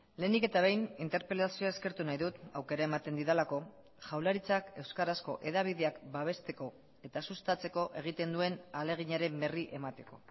lehenik eta behin interpelazioa eskertu nahi dut aukera ematen didalako jaurlaritzak euskarazko hedabideak babesteko eta sustatzeko egiten duen ahaleginaren berri emateko